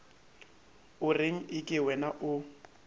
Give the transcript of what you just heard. o reng eke wena o